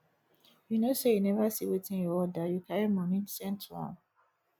you know say you never see wetin you order you carry money send to am